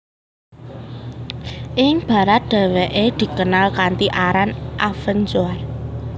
Ing barat dheweke dikenal kanthi aran Avenzoar